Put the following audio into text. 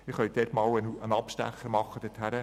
Sie können einmal einen Abstecher dorthin unternehmen.